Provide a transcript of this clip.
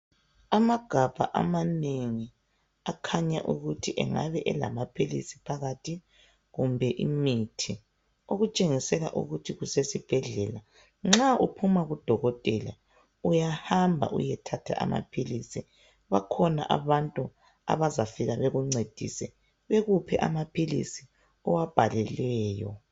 Amagabha amanengi akhanya ukuthi angabe elamaphilisi phakathi kumbe imithi. Okutshengisela ukuthi kusesibhedlela. Nxa uphuma kudokotela uyahamba uyethatha amaphilisi . Bakhona abantu abazafika bakuncedise bakuphe amaphilisi owabhalelweyo.